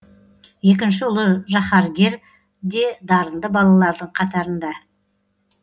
екінші ұлы жаһаргер де дарынды балалардың қатарында